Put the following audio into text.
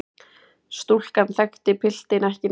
Stúlkan þekkti piltinn ekki neitt.